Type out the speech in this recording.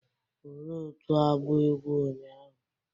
Ole otu agba egwu ụnyahụ